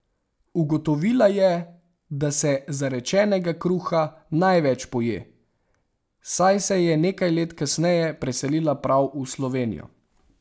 Ugotovila je, da se zarečenega kruha največ poje, saj se je nekaj let kasneje preselila prav v Slovenijo.